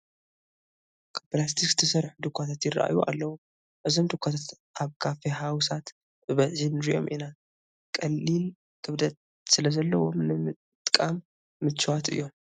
ካብ ፕላስቲክ ዝተሰርሑ ዱዃታት ይርአዩ ኣለዉ፡፡ እዞም ዱኻታት ኣብ ኮፊ ሃውሳት ብብዝሒ ንሪኦም ኢና፡፡ ቀሊል ክብደት ስለዘለዎ ንምጥቃም ምችዋት እዮም፡፡